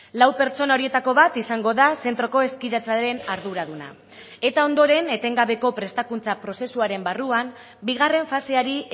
lau pertsona horietako bat izango da zentroko hezkidetzaren arduraduna eta ondoren etengabeko prestakuntza prozesuaren barruan bigarren faseari